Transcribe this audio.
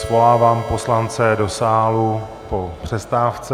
Svolávám poslance do sálu po přestávce.